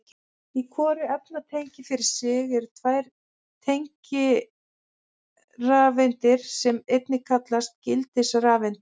Í hvoru efnatengi fyrir sig eru tvær tengirafeindir sem einnig kallast gildisrafeindir.